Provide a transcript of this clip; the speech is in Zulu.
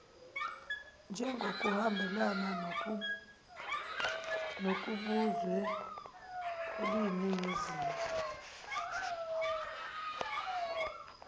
njengokuhambelana nokubuzwe eliyiningizimu